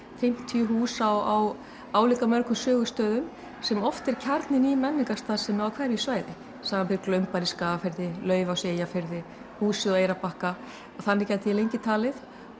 fimmtíu hús á álíka mörgum sögustöðum sem oft er kjarninn í menningarstarfsemi á hverju svæði samanber Glaumbær í Skagafirði Laufás í Eyjafirði húsið á Eyrarbakka og þannig gæti ég lengi talið